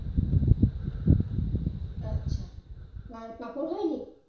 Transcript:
আচ্ছা আর পাপড় হয়নি?